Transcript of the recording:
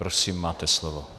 Prosím, máte slovo.